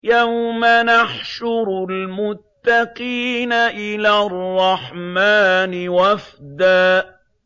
يَوْمَ نَحْشُرُ الْمُتَّقِينَ إِلَى الرَّحْمَٰنِ وَفْدًا